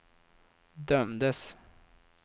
dömdes